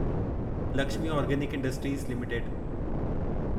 Lakshmi Organic Industries limited